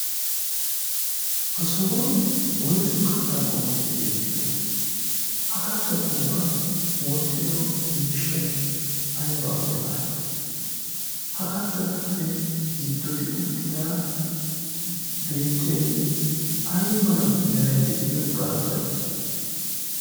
ha sohuwan woysu kattaa qomoti beettiyoona? ha kattata ubbaa wottido miishshai aibaa bollan ha kattatuppe giddoti uttida beettiyaagee ai mala merai de'iyo barbbaree?